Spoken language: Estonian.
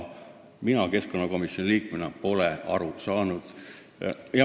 Mina keskkonnakomisjoni liikmena pole sellest aru saanud.